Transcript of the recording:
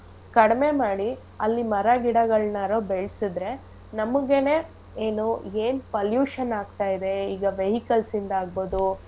ಕಡ್ಮೆ ಮಾಡಿ ಅಲ್ಲಿ ಮರ ಗಿಡಗಳ್ನಾರು ಬೆಳ್ಸುದ್ರೆ ನಮುಗೆನೇ ಏನೂ ಏನ್ pollution ಆಗ್ತಾ ಇದೆ ಈಗ vehicles ಇಂದ ಆಗ್ಬೋದು.